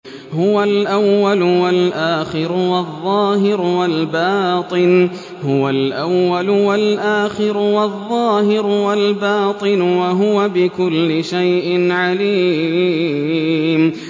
هُوَ الْأَوَّلُ وَالْآخِرُ وَالظَّاهِرُ وَالْبَاطِنُ ۖ وَهُوَ بِكُلِّ شَيْءٍ عَلِيمٌ